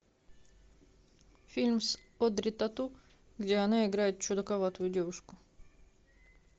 фильм с одри тоту где она играет чудаковатую девушку